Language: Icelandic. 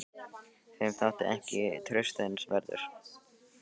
Þeim þótti ég ekki traustsins verður.